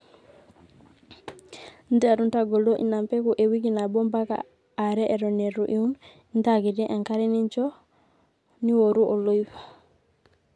nterru ntagolo ina mbegu ewiki nabo mbaka are eton eitu iun intaakiti enkare ninjo niworu oloip